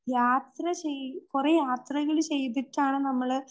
യാത്ര ചെയ്, കുറെ യാത്രകള് ചെയ്തിട്ടാണ്